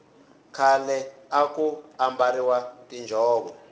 khale aku ambariwa tinjhovo